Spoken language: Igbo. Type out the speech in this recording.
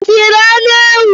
O siri anụ ewu?